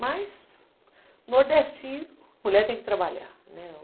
Mas, nordestino, mulher tem que trabalhar, né?